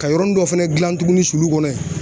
Ka yɔrɔnin dɔ fɛnɛ gilan tuguni sulu kɔnɔ yen